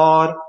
और --